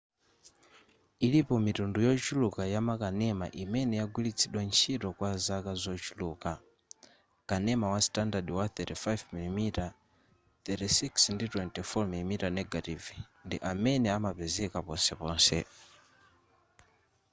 ilipo mitundu yochuluka yamakanema imene yagwiritsidwa ntchito kwa zaka zochuluka. kanema wa standard wa 35 mm 36 ndi 24 mm negative ndi amene amapezeka ponseponse